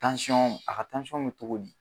Tansɔn a ka tansɔn bɛ cogo di.